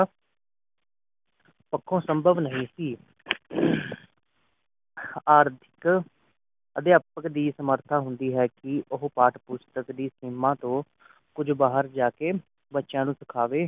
ਪੱਖੋਂ ਸੰਭਵ ਨਹੀਂ ਸੀ ਆਰਥਿਕ ਅਧਿਆਪਕ ਦੇ ਸਮਰਥਾ ਹੁੰਦੀ ਹੈ ਕਿ ਪਾਠ ਪੁਸਤਕ ਦੀ ਸੀਮਾ ਤੋਂ ਕੁਝ ਬਾਹਰ ਜਾ ਕੇ ਬੱਚਿਆਂ ਨੂੰ ਸਿਖਾਵੇ